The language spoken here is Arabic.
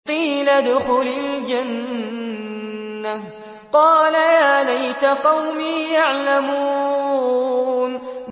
قِيلَ ادْخُلِ الْجَنَّةَ ۖ قَالَ يَا لَيْتَ قَوْمِي يَعْلَمُونَ